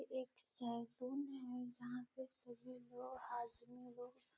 एक सलून है जहां पर सभी लोग आदमी लोग --